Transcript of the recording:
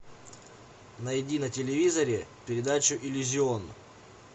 найди на телевизоре передачу иллюзион